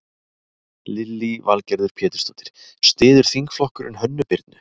Lillý Valgerður Pétursdóttir: Styður þingflokkurinn Hönnu Birnu?